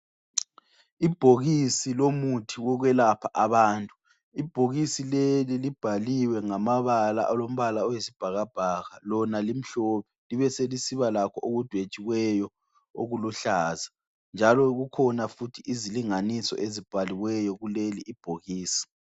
Ibhokisi lomuthi wokwelapha abantu. Ibhokisi leli libhaliwe ngamabala alombala oyisibhakabhaka lona limhlophe, libe selisibalakho okudwetshiweyo okuluhlaza njalo kukhona futhi izilingangiso ezibhaliweyo kuleli ibhokisi.